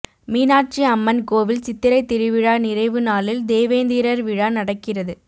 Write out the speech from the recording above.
மீனாட்சி அம்மன் கோவில் சித்திரை திருவிழா நிறைவு நாளில் தேவேந்திரர் விழா நடக்கிறது